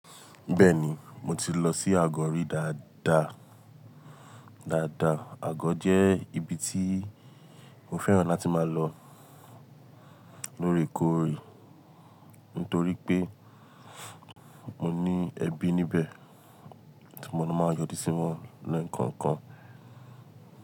Bẹ́ẹ̀ni, mo ti lọ sí Àgọ́ rí dáadáa. Dáadáa, Àgọ́ jẹ́ ibi tí mo fẹ́ràn láti máa lọ lóòrèkóòrè. Nítorí pé mo ní ẹbí níbẹ̀ tí mo máa ń yọ ju sí wọn lẹ ko kan.